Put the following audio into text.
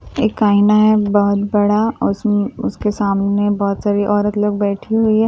एक आईना है बहुत बड़ा और उसम उसके सामने में बहुत सारी औरत लोग बैठी है और एक--